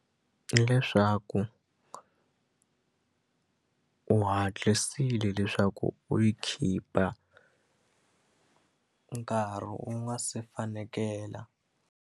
Hi leswaku u hatlisile leswaku u yi khipa nkarhi wu nga se fanekela.